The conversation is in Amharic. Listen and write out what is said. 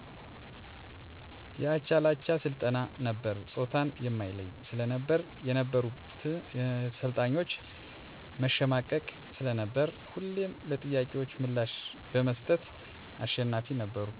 የአቻላቻ ስልጠና ነበር ጾታን የማይለይ ስለነበር የነበሩት ሰልጣኞች መሸማቀቅ ስለነበር ሁሌም ለጥያቄዎች ምላሽ በመስጠት አሸናፊ ነበርኩ።